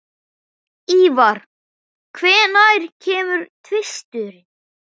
Ívar, hvenær kemur tvisturinn?